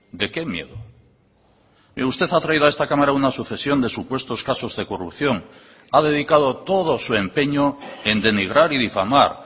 de qué miedo mire usted ha traído a esta cámara una sucesión de supuestos casos de corrupción ha dedicado todo su empeño en denigrar y difamar